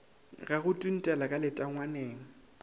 ga go tuntela ka letangwaneng